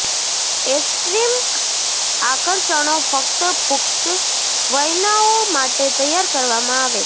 extreme આકર્ષણો ફક્ત પુખ્ત વયનાઓ માટે તૈયાર કરવામાં આવે છે